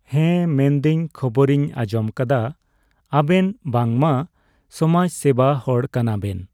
ᱦᱮᱸ ᱢᱮᱱᱫᱟᱹᱧ ᱠᱷᱚᱵᱚᱨᱤᱧ ᱟᱸᱡᱚᱢᱟᱠᱟᱫᱟ, ᱟᱵᱮᱱ ᱵᱟᱝᱢᱟ ᱥᱚᱢᱟᱡ ᱥᱮᱵᱟ ᱦᱚᱲ ᱠᱟᱱᱟᱵᱮᱱ᱾